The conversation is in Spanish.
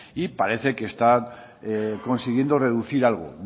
y parece que está consiguiendo reducir algo